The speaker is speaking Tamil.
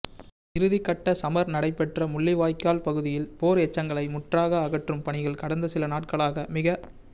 இறுதிக்கட்டச் சமர் நடைபெற்ற முள்ளிவாய்க்கால் பகுதியில் போர் எச்சங்களை முற்றாக அகற்றும் பணிகள் கடந்த சில நாட்களாக மிகத்